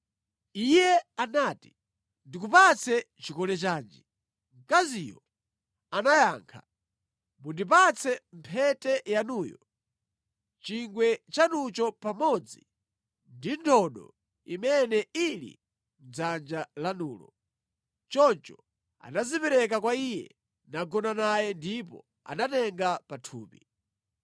Iye anati, “Ndikupatse chikole chanji?” Mkaziyo anayankha, “Mundipatse mphete yanuyo, chingwe chanucho pamodzi ndi ndodo imene ili mʼdzanja lanulo.” Choncho anazipereka kwa iye nagona naye ndipo anatenga pathupi.